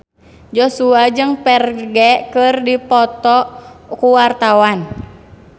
Joshua jeung Ferdge keur dipoto ku wartawan